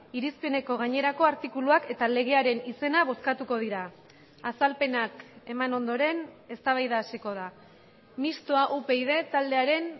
irizpeneko gainerako artikuluak eta legearen izena bozkatuko dira azalpenak eman ondoren eztabaida hasiko da mistoa upyd taldearen